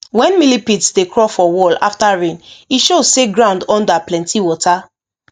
when millipedes dey crawl for wall after rain e show say ground under plenty water